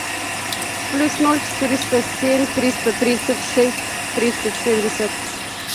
плюс ноль четыреста семь триста тридцать шесть тридцать семьдесят